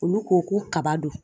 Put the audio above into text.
Olu ko ko kaba don.